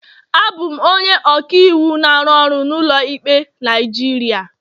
Abụ m onye ọka iwu na-arụ ọrụ n'ụlọ ikpe Naijiria.